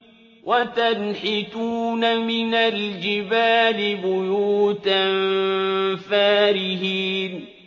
وَتَنْحِتُونَ مِنَ الْجِبَالِ بُيُوتًا فَارِهِينَ